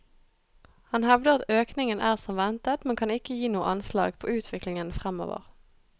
Han hevder at økningen er som ventet, men kan ikke gi noe anslag på utviklingen fremover.